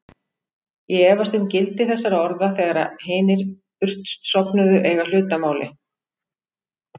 Ég efast um gildi þessara orða þegar hinir burtsofnuðu eiga hlut að máli.